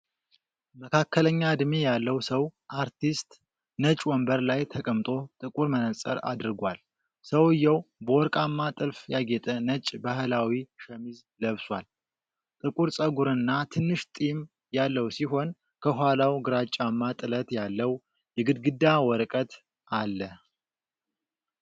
መካከለኛ ዕድሜ ያለው ሰው (አርቲስት) ነጭ ወንበር ላይ ተቀምጦ ጥቁር መነፅር አድርጓል። ሰውዬው በወርቃማ ጥልፍ ያጌጠ ነጭ ባህላዊ ሸሚዝ ለብሷል። ጥቁር ፀጉርና ትንሽ ጢም ያለው ሲሆን ከኋላው ግራጫማ ጥለት ያለው የግድግዳ ወረቀት አለ።